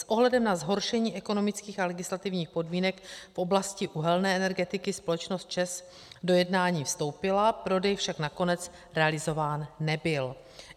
S ohledem na zhoršení ekonomických a legislativních podmínek v oblasti uhelné energetiky společnost ČEZ do jednání vstoupila, prodej však nakonec realizován nebyl.